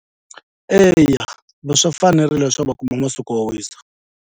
Eya swi fanerile leswaku va kuma masiku yo wisa.